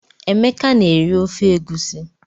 Emeka na-eri ofe egusi.